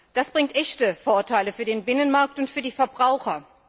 Das bringt echte Vorteile für den Binnenmarkt und für die Verbraucher.